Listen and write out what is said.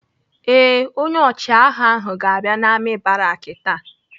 Ee, onye ọchịagha ahụ ga-abịa n'amị̀ baraki taa.